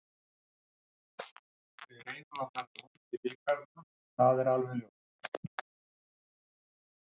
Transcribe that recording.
Við reynum að fara langt í bikarnum það er alveg ljóst.